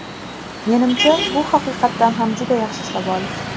Menimcha, bu haqiqatdan ham juda yaxshi savol.